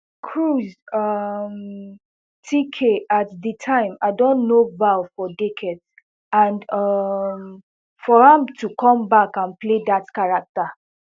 cruise um tk at di time i don know val for decades and um for am to come back and play dat character